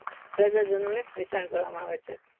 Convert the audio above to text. પ્રજા જનો ને વહેચણ કરવા માં આવે છે.